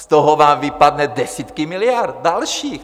Z toho vám vypadne desítky miliard dalších.